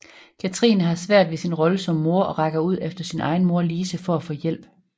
Katrine har svært ved sin rolle som mor og rækker ud efter sin egen mor Lise for at få hjælp